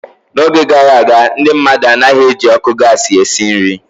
N'oge gara aga, ndị mmadụ anaghị eji ọkụ gasi esi nri.